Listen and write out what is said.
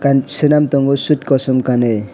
n senam tango sot kosom kanoi.